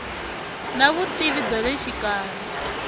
na vutivi bya le xikarhi